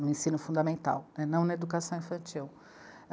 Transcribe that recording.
no ensino fundamental, não na educação infantil.